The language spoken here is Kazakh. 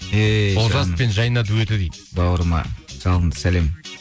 ей жаным олжас пен жайна дуэті дейді бауырыма жалынды сәлем